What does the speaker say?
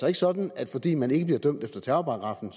er sådan at fordi man ikke bliver dømt efter terrorparagraffen